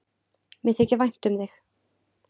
Mér þykir vænt um þig.